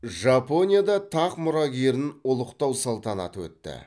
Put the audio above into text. жапонияда тақ мұрагерін ұлықтау салтанаты өтті